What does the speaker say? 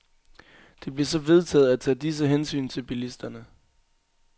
Det blev så vedtaget at tage disse hensyn til bilisterne.